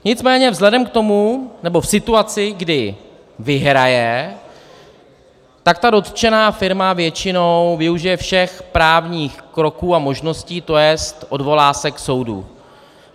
Nicméně vzhledem k tomu, nebo v situaci, kdy vyhraje, tak ta dotčená firma většinou využije všech právních kroků a možností, to jest, odvolá se k soudu.